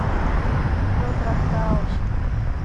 кино трактаун